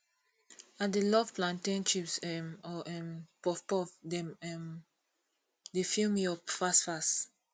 i dey love plantain chips um or um puffpuff dem um dey fill me up fast fast